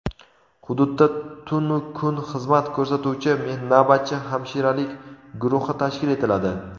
Hududda tunu-kun xizmat ko‘rsatuvchi navbatchi hamshiralik guruhi tashkil etiladi.